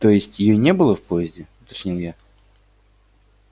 то есть её не было в поезде уточнил я